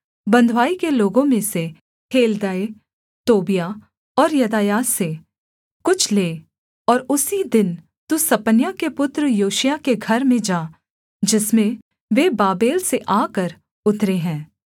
बँधुआई के लोगों में से हेल्दै तोबियाह और यदायाह से कुछ ले और उसी दिन तू सपन्याह के पुत्र योशियाह के घर में जा जिसमें वे बाबेल से आकर उतरे हैं